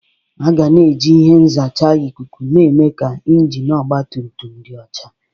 Aga na-eji ihe nzacha ikuku na-eme ka injin ọgba tum tum dị ọcha.